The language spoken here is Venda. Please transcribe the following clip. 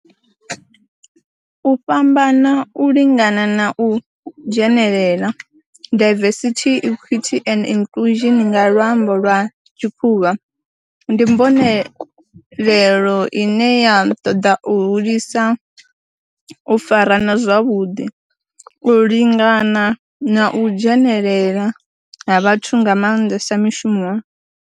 U fhambana, u lingana na u dzhenelela, diversity, equity and inclusion nga lwambo lwa tshikhuwa, ndi mbonelelo ine ya toda u hulisa u farana zwavhudi, u lingana na u dzhenelela ha vhathu nga mandesa mishumoni.